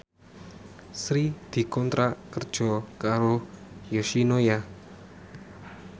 Sri dikontrak kerja karo Yoshinoya